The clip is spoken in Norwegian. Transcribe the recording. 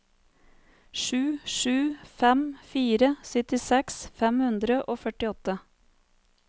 sju sju fem fire syttiseks fem hundre og førtiåtte